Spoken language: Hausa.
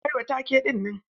Yayi ƙarami wa take dinnan.